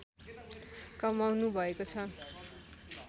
कमाउनुभएको छ